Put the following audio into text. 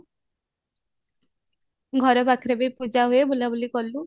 ଘର ପାଖରେ ବି ପୂଜା ହୁଏ ବୁଲା ବୁଲି କଲୁ